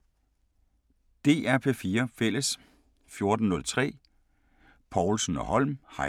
DR P4 Fælles